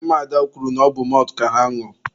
ụmụada kwuru na ọbụ mọltụ ka ha na-añụ.